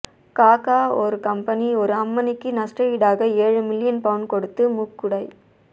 காக ஒரு கம்பனி ஒரு அம்மணிக்கு நஷ்ட ஈடாக ஏழு மில்லியன் பவுண் கொடுத்து மூக்குடை